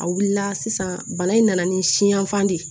A wulila sisan bana in nana ni siyanfan de ye